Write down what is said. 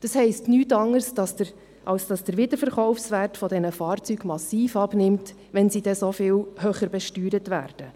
Das heisst nichts anderes, als dass der Wiederverkaufswert dieser Fahrzeuge massiv abnimmt, wenn sie dann so viel höher besteuert werden.